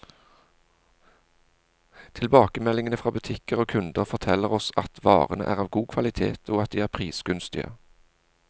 Tilbakemeldingene fra butikker og kunder, forteller oss at varene er av god kvalitet, og at de er prisgunstige.